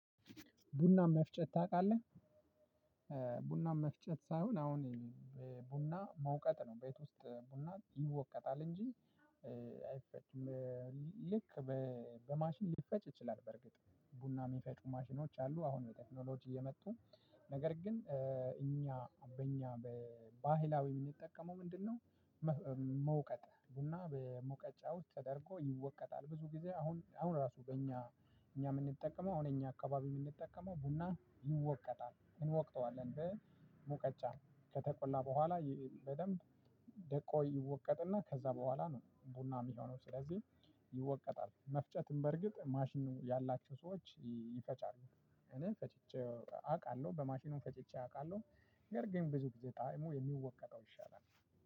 ቡና መፍጨት ታውቃለህ ቡና መፍጨት ሳይሆን አሁን ቡና መውቀጥ ነው ቤት ውስጥ ቡና ይወቀጣል እንጂ አይፈጭም ልክ በማሽን ሊፈጭ ይችላል። በርግጥ ቡና የሚፈጩ ማሽኖች አሉ አሁን በቴክኖሎጂ የመጡ ነገር ግን እኛ በእኛ በባህላዊ የምንጠቀመው ምንድነው? መውቀጥ ቡና በመውቀጫው ተደርጎ ይወቀጣል። ብዙ ጊዜ አሁን አሁን ራሱ በእኛ እኛ የምንጠቀመው አሁን እኛ አካባቢ የምንጠቀመው ቡና ይወቀጣል እንወቅጠዋለን በሙቀጫ ከተቆላ በኋላ በደንብ ደቆ ይወቀጥና ከዛ በኋላ ነው ቡና የሚሆነው። ስለዚህ ይወቀጣል መፍጨትም በርግጥ ማሽኑ ያላቸው ሰዎች ይፈጫሉ። እኔ ፈጭጨው አውቃለሁ በማሽኑም ፈጭጨው አውቃለሁ እንግዲህ ያርገኝ ብዙ ጊዜ ጣዕሙ የሚወቀጠው ይሻላል።